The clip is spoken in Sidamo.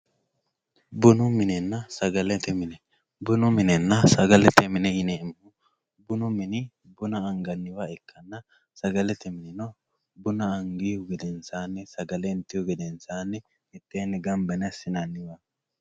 bunu minenna sagalete mine bunu minenna sagalete mine yineemohu bunu mini buna anganniwa ikkanna sagalete minino buna angihu gedensaani sagale intihu gedensaani assinanniwaate.